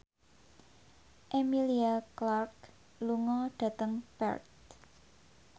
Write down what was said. Emilia Clarke lunga dhateng Perth